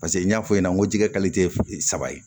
Paseke n y'a fɔ i ɲɛna n ko jɛgɛ saba ye